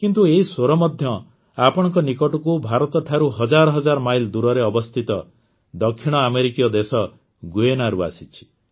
କିନ୍ତୁ ଏହି ସ୍ୱର ମଧ୍ୟ ଆପଣଙ୍କ ନିକଟକୁ ଭାରତଠାରୁ ହଜାର ହଜାର ମାଇଲ୍ ଦୂରରେ ଅବସ୍ଥିତ ଦକ୍ଷିଣ ଆମେରିକୀୟ ଦେଶ ଗୁୟେନାରୁ ଆସିଛି